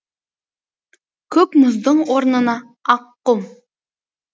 көк мұздың орнына ақ құм